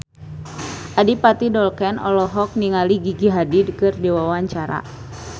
Adipati Dolken olohok ningali Gigi Hadid keur diwawancara